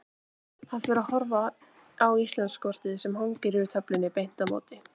Hann fer að horfa á Íslandskortið sem hangir yfir töflunni beint á móti.